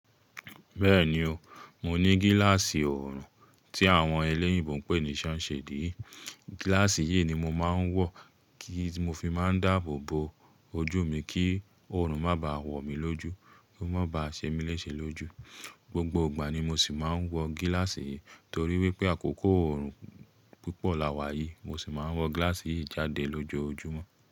Bẹ́ẹ̀ni o, mo ní gíláàsì orùn tí àwọn ẹlẹ́yìnbo ń pè ní sunshade yi. Gíláàsì yìí ni mo máa ń wọ̀ kí n ti mo máa ń dáàbò bo ojú mi kí orùn má báà wọ̀ mí lójú, kó má ba ṣe mí léṣe lójú. Gbogbo ìgbà ni mo sì máa ń wọ gíláàsì yìí torí wípé àkókò orùn púpọ̀ láwà yìí, mo sì máa ń wọ gíláàsì yìí jáde lójoojúmọ́.